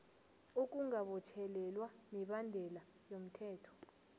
ukungabotjhelelwa mibandela yomthetho